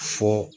Fɔ